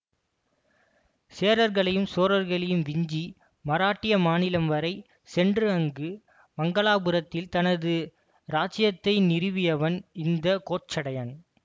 சேரர்களையும் சோழர்களையும் விஞ்சி மராட்டிய மாநிலம் வரை சென்று அங்கு மங்களாபுரத்தில் தனது இராச்சியத்தை நிறுவியவன் இந்த கோச்சடையன்